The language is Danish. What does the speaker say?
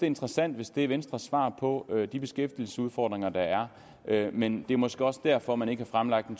interessant hvis det er venstres svar på de beskæftigelsesudfordringer der er men det er måske også derfor man ikke har fremlagt en